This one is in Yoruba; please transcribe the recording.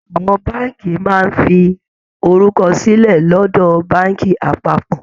Àwọn Báànkì máa ń fi orúkọ sílẹ̀ lọ́dọ̀ Báànkì apápọ̀